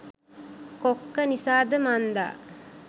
කොක්ක නිසාද මන්දා